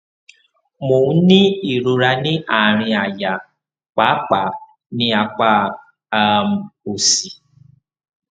mo ń ní ìrora ní àárín àyà pàápàá ní apá um òsì